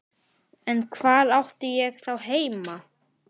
Það hefir verið ljóta veðrið í dag- sagði ég.